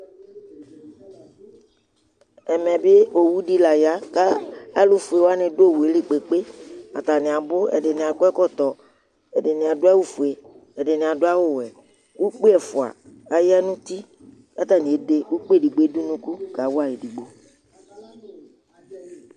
ɛmɛ bi ɔwʋ di la ya, alʋƒʋɛ wani dʋ ɔwʋɛ li kpekpekpe atani abʋ, ɛdini akɔ ɛkɔtɔ, ɛdini adʋ awʋ ƒʋɛ ɛdini adʋ awʋ wɛ, ʋkpi ɛƒʋa ayanʋ ʋti kʋ atani ɛdɛ ʋkpi dʋnʋ kʋ kawai ɛdigbɔ